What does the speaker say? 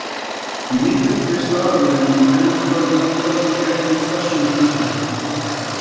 Níundi stafurinn í kennitölum okkar gegnir þessu hlutverki.